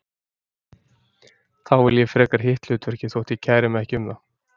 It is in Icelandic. Þá vel ég frekar hitt hlutverkið þótt ég kæri mig ekki um það.